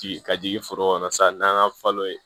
Ci ka jigin foro kɔnɔ sa n'an y'a falo ye